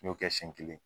N y'o kɛ siɲɛ kelen